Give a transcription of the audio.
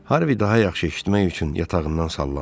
Harvi daha yaxşı eşitmək üçün yatağından sallandı.